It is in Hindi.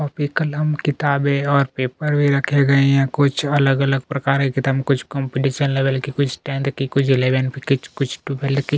कॉपी कलम किताबे ओर पेपर भी रखे गये है कुछ अलग-अलग प्रकारे कितम कुछ कॉम्पिटिशन लेवल के कुछ स्टँड के कुछ एलेव्न कुछ कुछ टुवेल के--